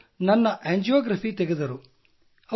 ಅವರು ನನ್ನ ಆಂಜಿಯೋಗ್ರಾಫಿ ತೆಗೆದರು